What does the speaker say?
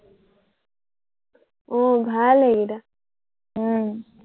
উম ভাল এইকেইটা উম